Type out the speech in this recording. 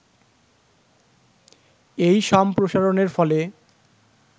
এই সম্প্রসারণের ফলে